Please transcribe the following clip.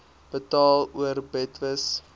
betaal or betwis